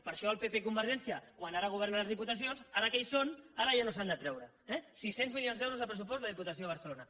per això el pp i convergència quan ara governen a les diputacions ara que hi són ara ja no s’han de treure eh sis cents milions d’euros de pressupost la diputació de barcelona